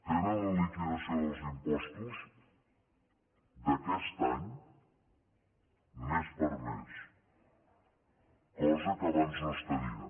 tenen la liquidació dels impostos d’aquest any mes per mes cosa que abans no es tenia